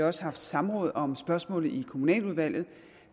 også haft samråd om spørgsmålet i kommunaludvalget